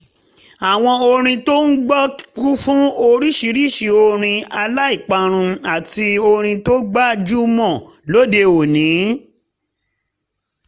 àwọn orin tó ń gbọ́ kú fún oríṣiríṣi orin aláìparun àti orin tó gbajúmọ̀ lóde òní